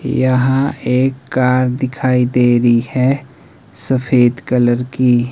यहां एक कार दिखाई दे रही है सफेद कलर की।